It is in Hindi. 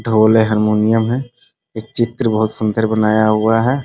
ढोल है हारमुनियम है ये चित्र बहुत सुन्दर बनाया हुआ है।